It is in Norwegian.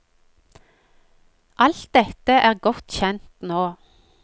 Alt dette er godt kjent nå.